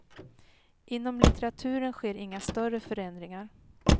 Inom litteraturen sker inga större förändringar.